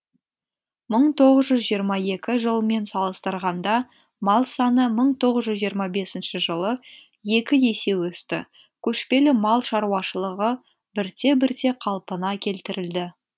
мың тоғыз жүз жиырма екі жылмен салыстырғанда мал саны мың тоғыз жүз жиырма бесінші жылы екі есе өсті көшпелі мал шаруашылығы бірте бірте қалпына келтірілді